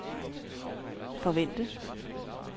forvente